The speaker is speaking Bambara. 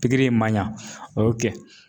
Pikiri in ma ɲɛ